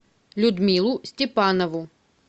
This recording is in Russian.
людмилу степанову